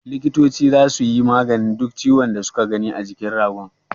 Likitoci zasu yi maganin duk ciwon da su ka gani a jikin ragon.